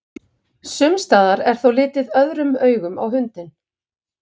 Sumstaðar er þó litið öðrum augum á hundinn.